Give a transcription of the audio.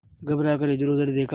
घबरा कर इधरउधर देखा